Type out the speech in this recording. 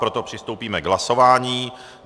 Proto přistoupíme k hlasování.